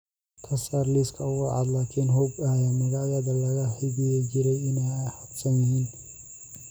ka saar liiska ugu cadcad laakiin hubi in magacyadii lala xidhiidhi jiray ay hadhsan yihiin